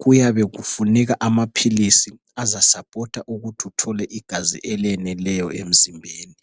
kuyabe kufuneka amaphilisi azasapota ukuthi uthole igazi eleneleyo emzimbeni.